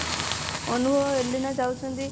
ଅନୁଭବ ଏଲିନା ଯାଉଛନ୍ତି